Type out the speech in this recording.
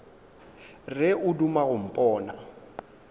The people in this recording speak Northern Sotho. re o duma go mpona